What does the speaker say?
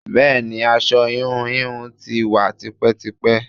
Bẹẹni, aṣọ íhùn íhùn tí wá tipẹ́tipẹ́.